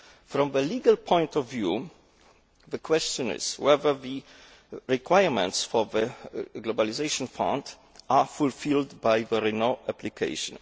From the legal point of view, the question is whether the requirements for the Globalisation Fund are fulfilled by the Renault application.